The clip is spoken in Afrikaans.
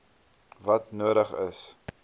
wat nodig is